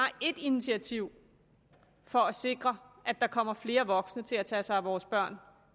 ét initiativ for at sikre at der kommer flere voksne til at tage sig af vores børn